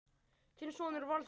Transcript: Þinn sonur Valþór.